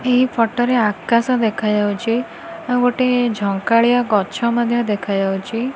ଏହି ଫଟ ରେ ଆକାଶ ଦେଖାଯାଉଚି ଆଉ ଗୋଟେ ଝଙ୍କାଳିଆ ଗଛ ମଧ୍ୟ ଦେଖାଯାଉଚି ।